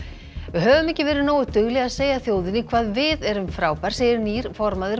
við höfum ekki verið nógu dugleg að segja þjóðinni hvað við erum frábær segir nýr formaður